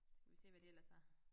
Skal vi se hvad de ellers har